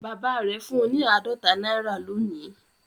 Bàbá rẹ̀ fún un ní àádọ́ta náírà lónìí